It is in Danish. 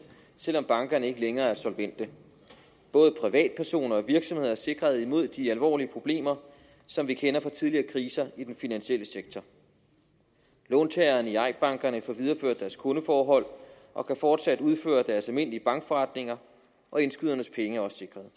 selv om bankerne ikke længere er solvente både privatpersoner og virksomheder er sikret imod de alvorlige problemer som vi kender fra tidligere kriser i den finansielle sektor låntagerne i eik bankerne får videreført deres kundeforhold og kan fortsat udføre deres almindelige bankforretninger og indskydernes penge er også sikret